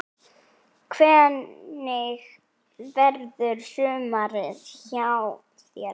Hvernig verður sumarið hjá þér?